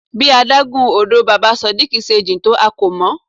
Bí adágún odò Baba Sodiq se jìn tó a kò mọ̀.